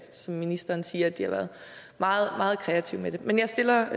som ministeren siger har været meget kreative med det men jeg stiller